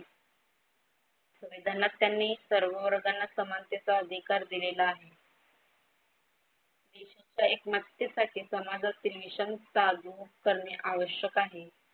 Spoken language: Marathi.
संविधानात त्यांनी सर्व वर्गांना समानतेचा अधिकार दिलेला आहे. एकमात्यसाठी समाजातील mission चालू करणे आवश्यक आहे.